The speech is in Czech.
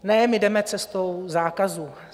Ne - my jdeme cestou zákazů.